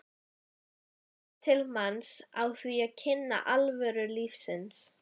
komist til manns á því að kynnast alvöru lífsins.